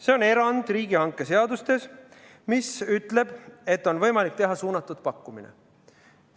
See on riigihangete seaduse kohaselt erand, mille puhul on võimalik teha suunatud pakkumine.